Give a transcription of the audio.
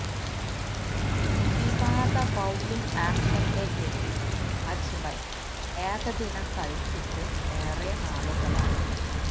വിവാദ ബൌളിംഗ് ആക്ഷന്റെ പേരില് അജ്മല് ഏകദിനം കളിച്ചിട്ട് ഏറെ നാളുകളായി